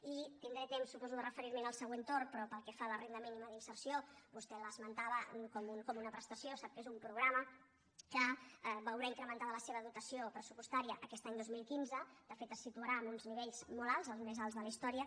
i tindré temps suposo de referirm’hi en el següent torn però pel que fa a la renda mínima d’inserció vostè l’esmentava com una prestació sap que és un programa que veurà incrementada la seva dotació pressupostària aquest any dos mil quinze de fet es situarà en uns nivells molt alts els més alts de la història